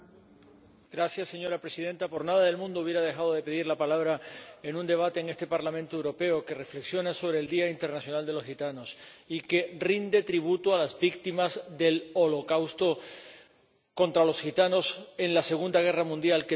Señora Presidenta, por nada del mundo hubiera dejado de pedir la palabra en un debate, en este Parlamento Europeo, que reflexiona sobre el Día Internacional del Pueblo Gitano y que rinde tributo a las víctimas del holocausto contra los gitanos en la Segunda Guerra Mundial ―que también lo hubo―.